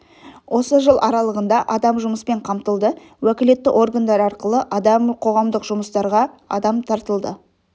осы жыл аралығында адам жұмыспен қамтылды уәкілетті органдар арқылы адам қоғамдық жұмыстарға адам тартылды